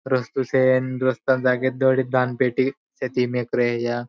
रस्तो छे रस्ता म जोगीन दोड़ी दान पेटी मेक रया.